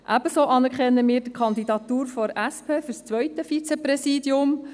Ebenso anerkennen wir die Kandidatur der SP für das zweite Vizepräsidium.